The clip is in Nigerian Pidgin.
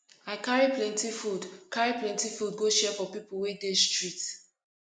i carry plenty food carry plenty food go share for pipo wey dey street